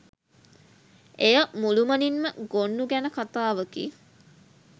එය මුළුමනින්ම ගොන්නු ගැන කතාවකි.